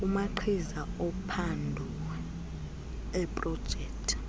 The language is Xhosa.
kumagqiza ophando eeprojekthi